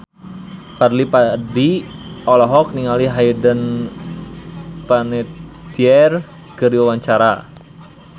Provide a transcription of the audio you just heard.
Fadly Padi olohok ningali Hayden Panettiere keur diwawancara